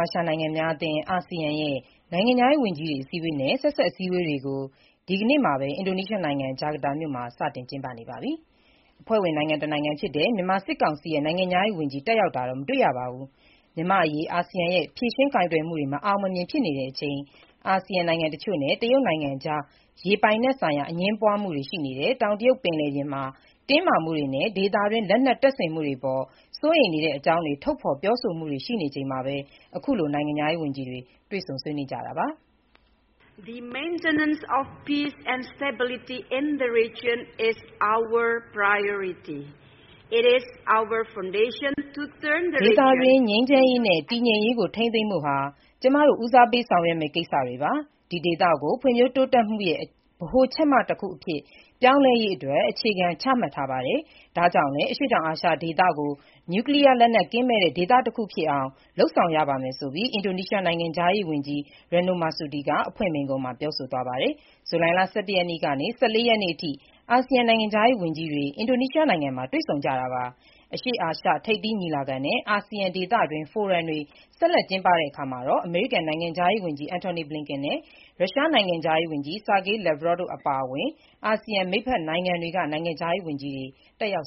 ာရှနိုင်ငံများအသင်း အာဆီယံ နိုင်ငံခြားရေးဝန်ကြီးတွေရဲ့ အစည်းအဝေးနဲ့ ဆက်စပ် အစည်းအဝေးတွေ ဒီကနေ့ အင်္ဂါနေ့ အင်ဒိုနီးရှားနိုင်ငံ၊ ဂျကာတာမြို့မှာ စတင်ကျင်းပနေပြီး အဖွဲ့ဝင်နိုင်ငံတနိုင်ငံဖြစ်တဲ့ မြန်မာနိုင်ငံဘက်က နိုင်ငံခြားရေးဝန်ကြီး ပါဝင်တက်ရောက်ခြင်း မရှိပါဘူး။ မြန်မာ့အရေး အာဆီယံရဲ့ ဖြေရှင်းကိုင်တွယ်မှုတွေ မအောင်မမြင် ဖြစ်နေတဲ့အချိန်၊ အာဆီယံနိုင်ငံ တချို့နဲ့ တရုတ်နိုင်ငံကြား ရေပိုင်နက် ဆိုင်ရာ အငြင်းပွားမှုတွေ ရှိနေတဲ့ တောင်တရုတ် ပင်လယ်ပြင်မှာလည်း တင်းမာမှုတွေ ရှိနေချိန်နဲ့ ဒေသတွင်း လက်နက်တပ်ဆင်မှုတွေအပေါ် စိုးရိမ်တဲ့အကြောင်း ထုတ်ဖေါ်ပြောဆိုမှုတွေ ရှိနေချိန်မှာ ခုလို နိုင်ငံခြားရေးဝန်ကြီးတွေ တွေ့ဆုံကြတာပါ။ “ဒေသတွင်း ငြိမ်းချမ်းရေးနဲ့ တည်ငြိမ်ရေးကို ထိန်းသိမ်းဖို့ဟာ ကျမတို့ ဦးစားပေးဆောင်ရွက်မယ့် ကိစ္စတွေပါ။ ဒီ ဒေသကို ဖွံ့ဖြိုးတိုးတက်မှုရဲ့ ဗဟိုချက်မတခုအဖြစ် ပြောင်းလဲရေး အခြေခံတွေ ချမှတ်ထားပါတယ်။ ဒါ့ကြောင့်လည်း အရှေ့တောင်အာရှဒေသကို နျုကလီးယား လက်နက် ကင်းမဲ့တဲ့ ဒေသတခုဖြစ်အောင် လုပ်ဆောင်ရပါလိမ့်မယ်ဆိုပြီး” အင်ဒိုနီးရှား နိုင်ငံခြားရေး ဝန်ကြီး Retno Marsudi က အဖွင့်မိန့်ခွန်းမှာ ပြောဆိုသွားပါတယ်။ ဇူလိုင်လ ၁၁ ရက်နေ့ကနေ ၁၄ ရက်နေ့အထိ အာဆီယံနိုင်ငံခြားရေး ဝန်ကြီးတွေ အင်ဒိုနီးရှားနိုင်ငံမှာ တွေ့ဆုံကြတာပါ။ အရှေ့အာရှ ထိပ်သီးညီလာခံနဲ့ အာဆီယံ ဒေသတွင်း ဖိုရမ်တွေ ဆက်လက် ကျင်းပတဲ့အခါ အမေရိကန်နိုင်ငံခြားရေးဝန်ကြီး Antony Blinken နဲ့ ရုရှားနိုင်ငံခြားရေးဝန်ကြီး Sergei Lavrov တို့အပါအဝင် အာဆီယံ မိတ်ဖက်နိုင်ငံတွေက နိုင်ငံခြားရေးဝန်ကြီးတွေ တက်ရောက်